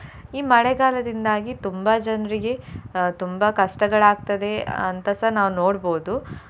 ಈ ಮಳೆಗಾಲದಿಂದಾಗಿ ತುಂಬಾ ಜನ್ರಿಗೆ ಅಹ್ ತುಂಬಾ ಕಷ್ಟಗಳಾಗ್ತದೆ ಅಂತಸ ನಾವ್ ನೋಡ್ಬೋದು.